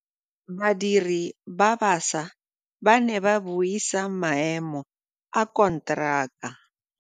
Badiri ba baša ba ne ba buisa maêmô a konteraka.